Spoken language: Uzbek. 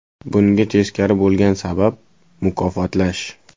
Bunga teskari bo‘lgan sabab – mukofotlash.